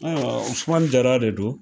Ɔ Usumani Jra de don